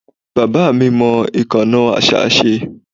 Bàbá mi mọ ìkánná àṣá ṣe.